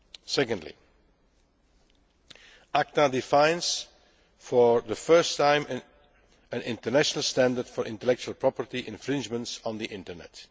Secondly, ACTA defines for the first time an international standard for intellectual property infringements on the Internet.